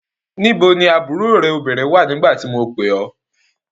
Níbo ni àbúrò rẹ̀ obìnrin wà nígbà tí mo pè ẹ́?